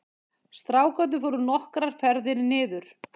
Strákarnir fóru nokkrar ferðir niður